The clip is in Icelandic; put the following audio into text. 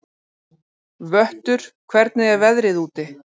Vöttur, hvernig er veðrið úti?